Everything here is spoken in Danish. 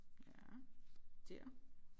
Ja der